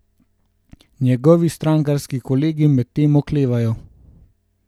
Njegovi strankarski kolegi medtem oklevajo.